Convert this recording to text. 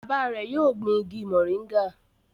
Bàbá rẹ yóò gbìn ìgi moringa